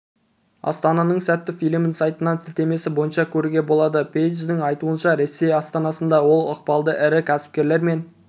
астананың сәті фильмін сайтынан сілтемесі бойынша көруге болады пейдждің айтуынша ресей астанасында ол ықпалды ірі кәсіпкерлермен